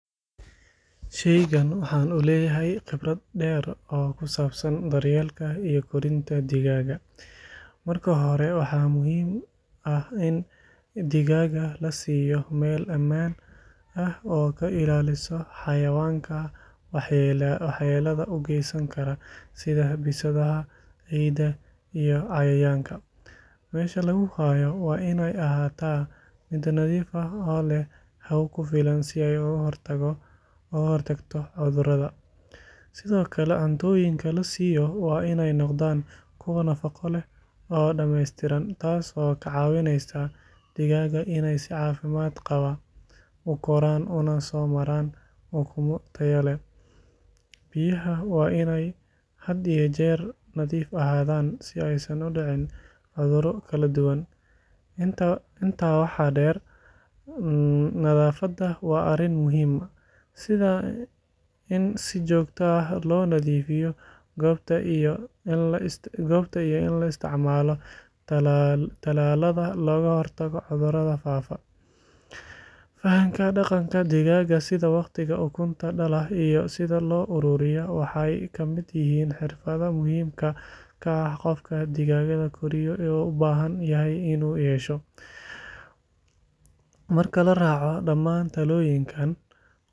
Shaygaan waxaan leeyahay khibrad dheer oo ku saabsan daryeelka iyo korinta digaagga. Marka hore, waxaa muhiim ah in digaagga la siiyo meel ammaan ah oo ka ilaalisa xayawaanka waxyeelada u geysan kara sida bisadaha, eyda, iyo cayayaanka. Meesha lagu hayo waa inay ahaataa mid nadiif ah oo leh hawo ku filan si ay uga hortagto cudurada. Sidoo kale, cuntooyinka la siiyo waa inay noqdaan kuwo nafaqo leh oo dhameystiran, taas oo ka caawinaysa digaagga inay si caafimaad qaba u koraan una soo saaraan ukumo tayo leh. Biyaha waa inay had iyo jeer nadiif ahaadaan, si aysan u dhicin cuduro kala duwan. Intaa waxaa dheer, nadaafadda waa arrin muhiim ah, sida in si joogto ah loo nadiifiyo goobta iyo in la isticmaalo tallaalada looga hortago cudurada faafa. Fahamka dhaqanka digaagga, sida waqtiga ukunta dhala iyo sida loo ururiyo, waxay ka mid yihiin xirfadaha muhiimka ah ee qofka digaagga koriyo u baahan yahay inuu yeesho. Marka la raaco dhammaan talooyinkan.